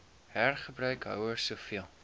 hergebruik houers soveel